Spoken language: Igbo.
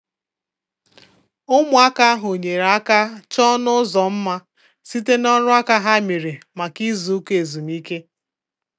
Ụmụaka ahụ nyere aka chọọ ọnụ ụzọ mma site n'ọrụ aka ha mere maka izu ụka ezumike.